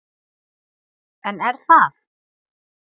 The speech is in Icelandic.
En er það?